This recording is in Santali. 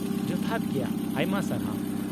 -ᱡᱚᱛᱷᱟᱛ ᱜᱮᱭᱟ! ᱟᱭᱢᱟ ᱥᱟᱨᱦᱟᱣ ᱾